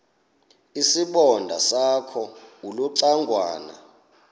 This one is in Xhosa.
isibonda sakho ulucangwana